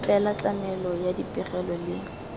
fela tlamelo ya dipegelo le